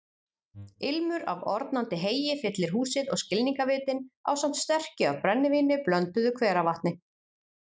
Ilmur af ornandi heyi fyllir húsið og skilningarvitin ásamt sterkju af brennivíni blönduðu hveravatni.